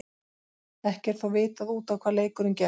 Ekki er þó vitað út á hvað leikurinn gekk.